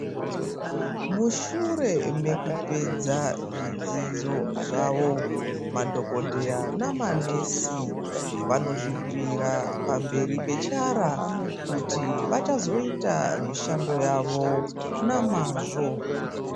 Mushure mekupedza zvidzidzo zvavo, madhokodheya namanesi vanozvipira pamberi pechara kuti vachazoita mishando yavo namazvo.